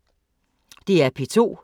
DR P2